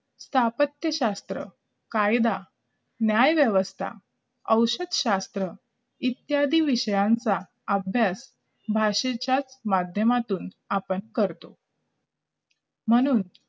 स्थापत्यशास्त्र कायदा न्यायव्यवस्था औषध शास्त्र इत्यादीं विषयांचा अभ्यास भाषेच्या माध्यमातूनच आपण करतो म्हणून